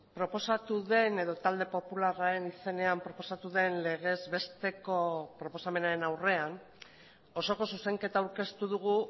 proposatu den edo talde popularraren izenean proposatu den legez besteko proposamenaren aurrean osoko zuzenketa aurkeztu dugu